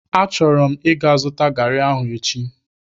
Achọrọ m ịga zụta garị ahụ echi.